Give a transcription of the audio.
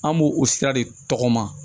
An b'o o sira de tɔgɔ ma